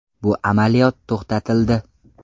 Bu amaliyot to‘xtatildi.